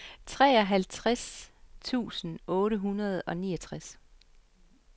treoghalvtreds tusind otte hundrede og niogtres